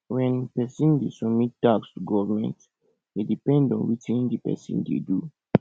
when person dey submit tax to government e depend on wetin di person dey do